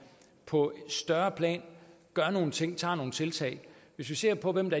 på et større plan gør nogle ting tager nogle tiltag hvis vi ser på hvem